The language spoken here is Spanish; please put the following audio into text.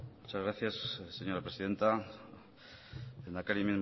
muchas gracias señora presidenta lehendakari